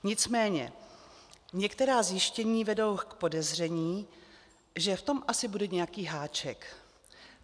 Nicméně některá zjištění vedou k podezření, že v tom asi bude nějaký háček.